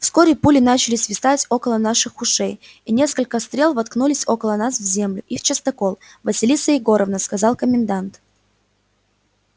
вскоре пули начали свистать около наших ушей и несколько стрел воткнулись около нас в землю и в частокол василиса егоровна сказал комендант